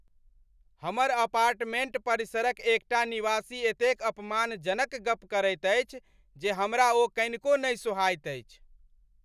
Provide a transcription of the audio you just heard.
हमर अपार्टमेंट परिसरक एकटा निवासी एतेक अपमानजनक गप करैत अछि जे हमरा ओ कनिको नहि सोहाइत अछि ।